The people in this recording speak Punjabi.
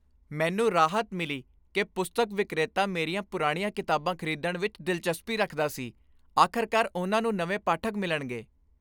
ਮੈਨੂੰ ਰਾਹਤ ਮਿਲੀ ਕਿ ਪੁਸਤਕ ਵਿਕਰੇਤਾ ਮੇਰੀਆਂ ਪੁਰਾਣੀਆਂ ਕਿਤਾਬਾਂ ਖ਼ਰੀਦਣ ਵਿੱਚ ਦਿਲਚਸਪੀ ਰੱਖਦਾ ਸੀ। ਆਖ਼ਰਕਾਰ ਉਨ੍ਹਾਂ ਨੂੰ ਨਵੇਂ ਪਾਠਕ ਮਿਲਣਗੇ।